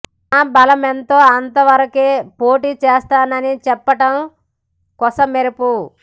తమ బలమెంతో అంత వరకే పోటీ చేస్తానని చెప్పటం కొసమెరుపు